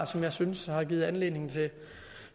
som jeg synes har givet anledning